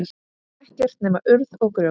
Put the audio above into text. Ekkert nema urð og grjót.